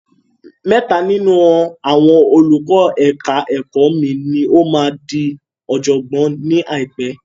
Mẹ́ta nínú àwọn olùkọ́ ẹ̀ka ẹ̀kọ́ mi ni ó máa di ọ̀jọ̀gbọ́n ni àìpé.